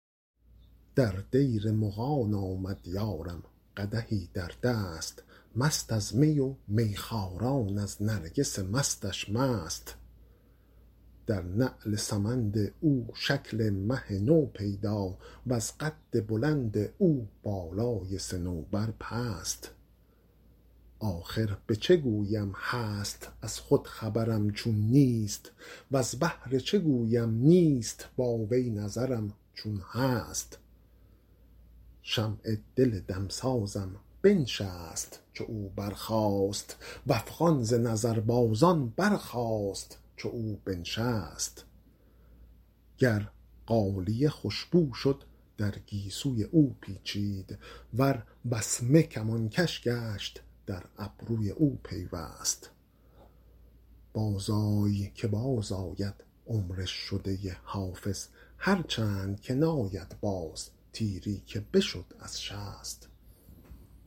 در دیر مغان آمد یارم قدحی در دست مست از می و میخواران از نرگس مستش مست در نعل سمند او شکل مه نو پیدا وز قد بلند او بالای صنوبر پست آخر به چه گویم هست از خود خبرم چون نیست وز بهر چه گویم نیست با وی نظرم چون هست شمع دل دمسازم بنشست چو او برخاست و افغان ز نظربازان برخاست چو او بنشست گر غالیه خوش بو شد در گیسوی او پیچید ور وسمه کمانکش گشت در ابروی او پیوست بازآی که بازآید عمر شده حافظ هرچند که ناید باز تیری که بشد از شست